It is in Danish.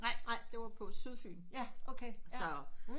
Nej det var på sydfyn så